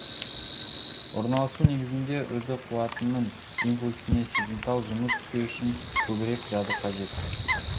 орналасу негізінде үрді қуатының импульсіне сезімтал жұмыс істеу үшін көбірек жады қажет